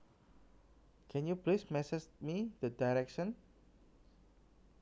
Can you please message me the directions